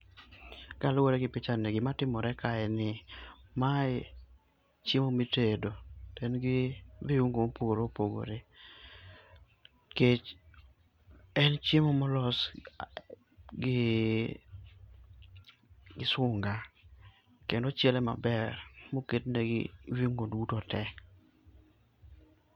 Kaluwore gi pichani gima timore ka en ni mae chiemo mitedo to en gi viuongo mopogore opogore, kech en chiemo molos gi sunga kendo ochiele maber moket ne viungo duto te.